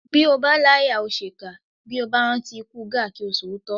Bí o bá láyà ò ṣèkà bí o bá rántí ikú Gáà kí o sòótọ́